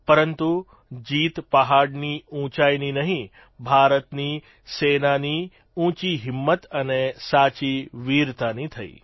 પરંતુ જીત પહાડની ઉંચાઇની નહીં ભારતની સેનાઓની ઉંચી હિંમત અને સાચી વિરતાની થઇ